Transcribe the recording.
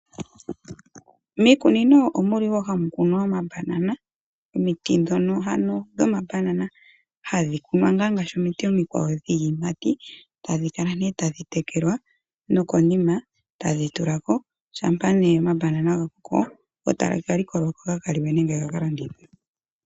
Miikunino omuli wo hamu kunwa oma Banana. omiti dhono ano dho mi Banana hadhi kunwa ngaashi ngaa omiti omikwawo dhii yimati, tadhi kala ne tadhi tekelwa, no konima taga tulako, shampa ne oma Banana ga koko, go taga ka likolwako ga kaliwe nenge ga ka landithwe.